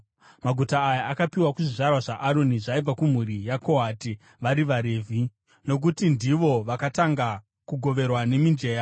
(maguta aya akapiwa kuzvizvarwa zvaAroni zvaibva kumhuri yaKohati vari vaRevhi, nokuti ndivo vakatanga kugoverwa nemijenya):